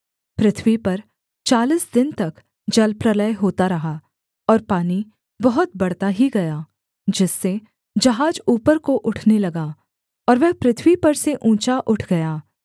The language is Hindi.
पृथ्वी पर चालीस दिन तक जलप्रलय होता रहा और पानी बहुत बढ़ता ही गया जिससे जहाज ऊपर को उठने लगा और वह पृथ्वी पर से ऊँचा उठ गया